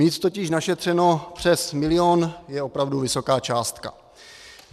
Mít totiž našetřeno přes milion je opravdu vysoká částka.